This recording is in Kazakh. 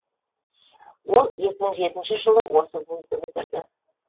ол екі мың жетінші жылы осы вузды бітірді